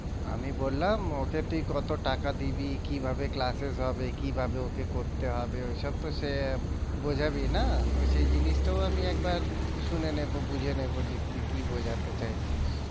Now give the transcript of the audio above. আমি বললাম ওকে তুই কত টাকা দিবি? কিভাবে classes হবে? কিভাবে ওকে করতে হবে ওইসব তো সে বোঝাবি না তো সেই জিনিসটাও আমি একবার শুনে নেবো বুঝে নেবো যে তুই কি বোঝাতে চাইছিস।